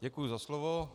Děkuji za slovo.